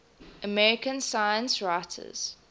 american science writers